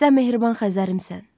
Sən mehriban Xəzərimsən.